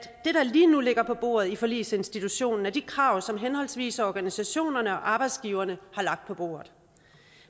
lige nu ligger på bordet i forligsinstitutionen er de krav som henholdsvis organisationerne og arbejdsgiverne har lagt på bordet